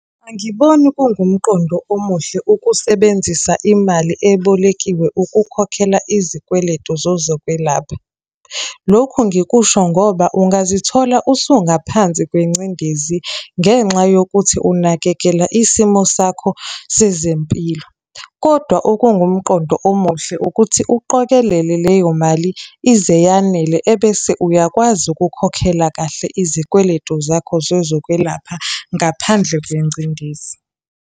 Angiboni kungumqondo omuhle ukusebenzisa imali ebolekiwe ukukhokhela izikweletu zezokwelapha. Lokhu ngikusho ngoba ungazithola usungaphansi kwengcindezi ngenxa yokuthi unakekela isimo sakho sezempilo. Kodwa okungumqondo omuhle ukuthi uqokelele leyo mali ize yanele ebese uyakwazi ukukhokhela kahle izikweletu zakho zezokwelapha ngaphandle kwengcindezi.